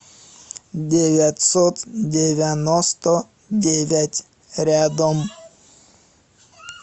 девятьсот девяносто девять рядом